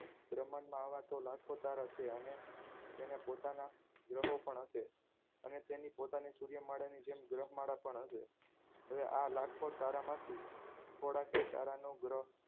બ્રહ્માંડમાં આવા તો લાખો તારા છે અને તેને પોતાના ગ્રહો પણ હશે અને તેની પોતાની સૂર્યમાળાની જેમ ગ્રહ માળા પણ હશે હવે આ લાખો તારામાંથી થોડાકે તારા નો ગ્રહ